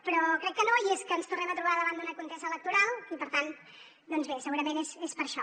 però crec que no i és que ens tornem a trobar davant d’una contesa electoral i per tant doncs bé segurament és per això